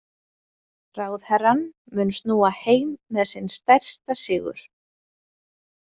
Ráðherrann mun snúa heim með sinn stærsta sigur.